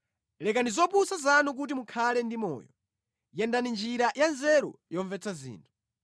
Lekani zopusa zanu kuti mukhale ndi moyo; yendani njira ya nzeru yomvetsa zinthu.”